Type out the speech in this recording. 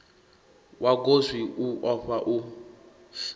wa goswi u ofha u